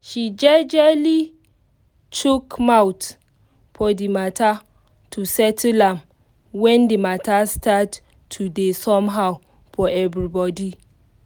she jejely chook mouth for the mata to settle am when the mata start to dey somehow for everybody